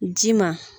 Ji ma